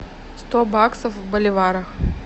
сто баксов в боливарах